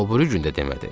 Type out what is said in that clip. O biri gün də demədi.